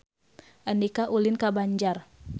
Andika ulin ka Banjar